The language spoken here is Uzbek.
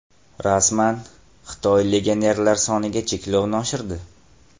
Rasman: Xitoy legionerlar soniga cheklovni oshirdi.